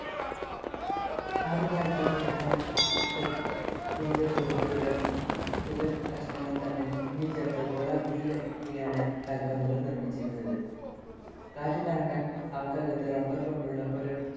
ആദ്യകാലത്ത് ഏതാനും ഷഡ്ഭുജരൂപത്തിലുള്ള തുകൽക്കഷണങ്ങൾ തമ്മിൽ തുന്നിച്ചേർത്ത് ഗോളാകൃതിയിലാക്കിയാണ് കാൽപ്പന്തുകൾ നിർമ്മിച്ചിരുന്നത്. കാറ്റു നിറക്കാൻ അവക്കകത്ത് rubber കൊണ്ടുള്ള ഒരു